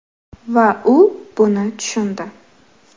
Va u buni tushundi.